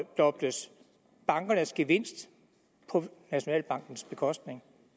bankernes gevinst på nationalbankens bekostning